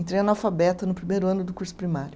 Entrei analfabeta no primeiro ano do curso primário.